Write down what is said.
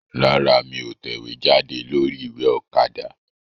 Rárá, mí ò tẹ̀wéjáde lórí ìwé Òkadà